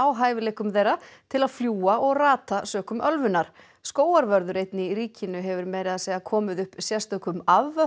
hæfileikum þeirra til að fljúga og rata sökum ölvunar skógarvörður einn í ríkinu hefur meira að segja komið upp sérstökum